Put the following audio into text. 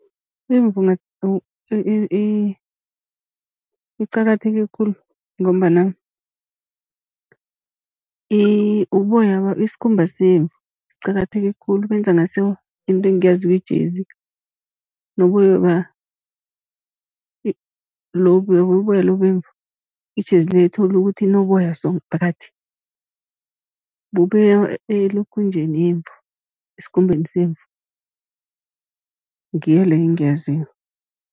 Imvu iqakatheke khulu, ngombana isikhumba semvu siqakatheke khulu, benza ngaso into engiyaziko ijezi. Noboyoba lobu uyabubona uboya lobu bemvu ijezi le thole ukuthi inoboya so phakathi, bubuya elokhunjeni yemvu, esikhumbeni semvu ngiyo leyo engiyaziko.